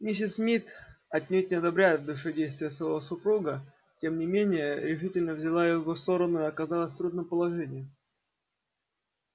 миссис мид отнюдь не одобряя в душе действия своего супруга тем не менее решительно взяла его сторону и оказалась в трудном положении